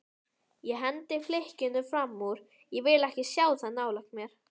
Ég hendi flikkinu framúr, vil ekki sjá það nálægt mér.